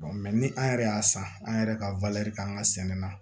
ni an yɛrɛ y'a san an yɛrɛ ka kan an ka sɛnɛ na